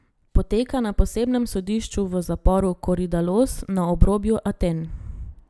Poteka na posebnem sodišču v zaporu Koridalos na obrobju Aten.